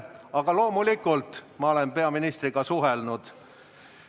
Aga loomulikult olen ma peaministriga suhelnud.